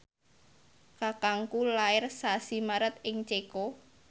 kakangku lair sasi Maret ing Ceko